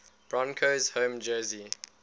broncos home jersey